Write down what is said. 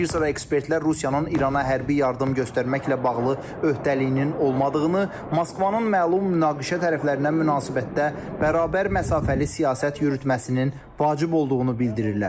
Bir sıra ekspertlər Rusiyanın İrana hərbi yardım göstərməklə bağlı öhdəliyinin olmadığını, Moskvanın məlum münaqişə tərəflərinə münasibətdə bərabər məsafəli siyasət yürütməsinin vacib olduğunu bildirirlər.